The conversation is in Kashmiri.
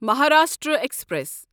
مہاراشٹرا ایکسپریس